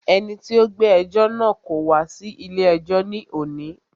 Ẹni tí o gbé ẹjọ́ náà wá kò wá sí ilé ẹjọ́ ní òní.